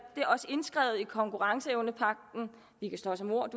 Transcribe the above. det er også indskrevet i konkurrenceevnepagten vi kan slås om ord